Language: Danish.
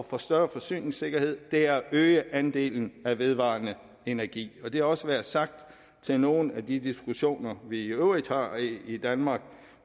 få større forsyningssikkerhed at øge andelen af vedvarende energi og det også være sagt til nogle af de diskussioner vi i øvrigt har i danmark